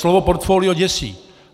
Slovo portfolio děsí.